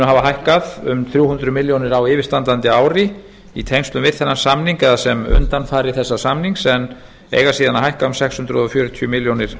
hafa hækkað um þrjú hundruð milljóna króna á yfirstandandi ári í tengslum við þennan samning eða sem undanfari þessa samnings en eiga síðan að hækka um sex hundruð fjörutíu milljónir